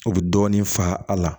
U bɛ dɔɔnin fa a la